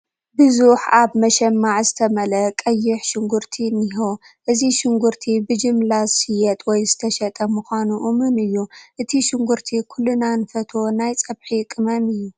ብዙሕ ኣብ መሸማዕ ዝተመልአ ቀይሕ ሽጉርቲ እኒሆ፡፡ እዚ ሽጉርቲ ብጅምላ ዝሽየጥ ወይ ዝተሸጠ ምዃኑ እሙን እዩ፡፡ እዚ ሽጉርቲ ኩልና ንፈትዎ ናይ ፀብሒ ቅመም እዩ፡፡